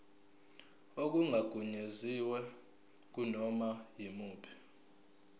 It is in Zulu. okungagunyaziwe kunoma yimuphi